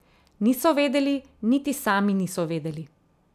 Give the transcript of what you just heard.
Niso vedeli, niti sami niso vedeli.